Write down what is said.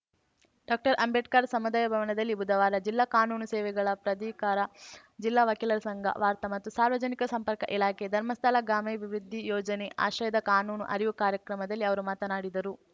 doctor Ambedkar ಸಮುದಾಯ ಭವನದಲ್ಲಿ ಬುಧವಾರ ಜಿಲ್ಲಾ ಕಾನೂನು ಸೇವೆಗಳ ಪ್ರಾಧಿಕಾರ ಜಿಲ್ಲಾ ವಕೀಲರ ಸಂಘ ವಾರ್ತಾ ಮತ್ತು ಸಾರ್ವಜನಿಕ ಸಂಪರ್ಕ ಇಲಾಖೆ ಧರ್ಮಸ್ಥಳ ಗ್ರಾಮಾಭಿವೃದ್ಧಿ ಯೋಜನೆ ಆಶ್ರಯದ ಕಾನೂನು ಅರಿವು ಕಾರ್ಯಕ್ರಮದಲ್ಲಿ ಅವರು ಮಾತನಾಡಿದರು